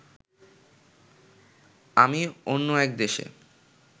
আমি অন্য এক দেশে